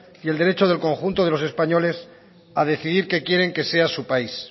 y el derecho del conjunto de los españoles a decidir qué quieren que sea su país